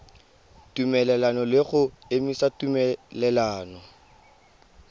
tumelelano le go emisa tumelelano